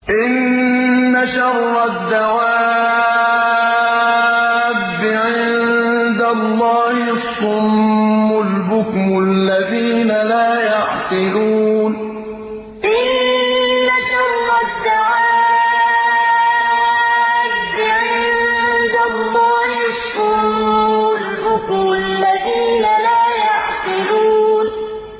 ۞ إِنَّ شَرَّ الدَّوَابِّ عِندَ اللَّهِ الصُّمُّ الْبُكْمُ الَّذِينَ لَا يَعْقِلُونَ ۞ إِنَّ شَرَّ الدَّوَابِّ عِندَ اللَّهِ الصُّمُّ الْبُكْمُ الَّذِينَ لَا يَعْقِلُونَ